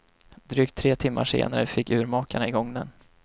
Drygt tre timmar senare fick urmakarna i gång den.